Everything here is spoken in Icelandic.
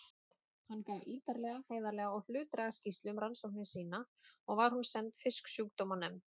Hann gaf ítarlega, heiðarlega og hlutlæga skýrslu um rannsóknir sínar og var hún send Fisksjúkdómanefnd